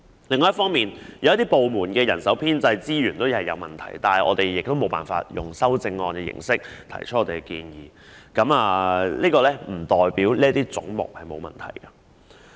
另一方面，有些部門的人手編制及資源出現問題，我們同樣無法以修正案的形式提出我們的建議，但這不代表這些總目的撥款額沒有問題。